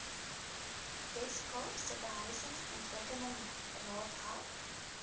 weskaapse behuisingsontwikkelingsraad help